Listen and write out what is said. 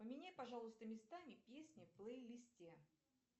поменяй пожалуйста местами песни в плейлисте